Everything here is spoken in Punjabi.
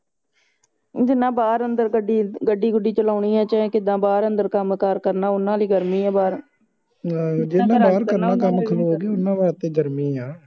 ਜਿੰਨਾ ਬਾਹਰ ਅੰਦਰ ਗੱਡੀ ਗੁਡੀ ਚਲਾਉਣੀ ਚਾਹੇ ਜਿਹਨਾਂ ਜਿੱਦਾ ਬਾਹਰ ਅੰਦਰ ਕੰਮ ਕਾਰ ਕਰਨਾ ਓਹਨਾ ਲਈ ਗਰਮੀ ਆ ਬਾਹਰ ਜਿਹਨੇ ਬਾਹਰ ਕੰਮ ਕਰਨਾ ਖਲੋ ਕੇ ਬਾਹਰ ਉਹਨਾਂ ਵਾਸਤੇ ਗਰਮੀ ਆ